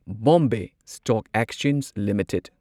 Bombay stock exchange limited